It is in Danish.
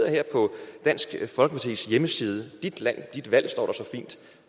her på dansk folkepartis hjemmeside dit land dit valg står